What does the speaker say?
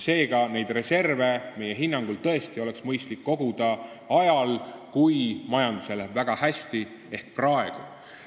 Seega, neid reserve oleks meie hinnangul tõesti mõistlik koguda ajal, kui majandusel läheb väga hästi, ehk praegu.